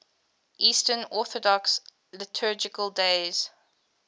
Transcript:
eastern orthodox liturgical days